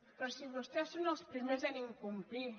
però si vostès són els primers a incomplir